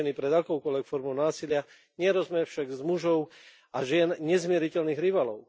Chráňme ženy pred akoukoľvek formou násilia, nerobme však z mužov a žien nezmieriteľných rivalov.